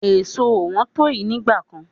Èso ò wọ́n to yi nígbà kan.